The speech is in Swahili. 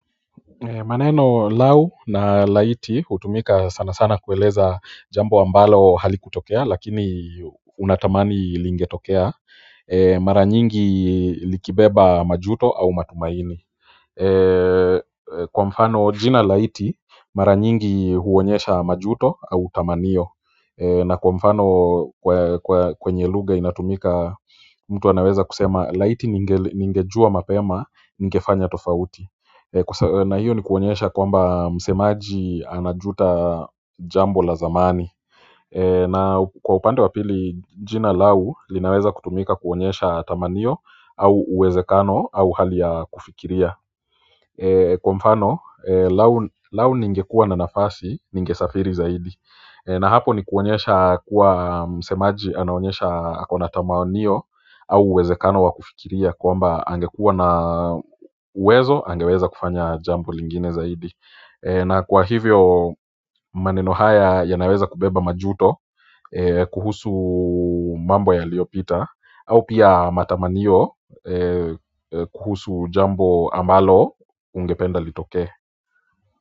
Maneno lau na laiti hutumika sana sana kueleza jambo ambalo halikutokea lakini unatamani lingetokea. Mara nyingi likibeba majuto au matumaini. Kwa mfano jina laiti mara nyingi huonyesha majuto au tamaniyo na kwa mfano kwenye lugha inatumika mtu anaweza kusema laiti ningejua mapema ningefanya tofauti. Na hiyo ni kuonyesha kwamba msemaji anajuta jambo la zamani. Na kwa upande wapili jina lau linaweza kutumika kuonyesha tamaniyo au uwezekano au hali ya kufikiria kwa mfano, lau ningekua na nafasi ningesafiri zaidi. Na hapo ni kuonyesha kuwa msemaji anaonyesha kuna tamanio au uwezekano wa kufikiria kwamba angekuwa na uwezo angeweza kufanya jambo lingine zaidi. Na kwa hivyo, maneno haya yanaweza kubeba majuto kuhusu mambo yaliyopita au pia matamaniyo kuhusu jambo ambalo ungependa litokee.